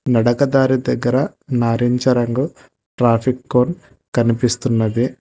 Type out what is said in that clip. నడకదారి దగ్గర నారింజరంగు traffic cone కనిపిస్తున్నది.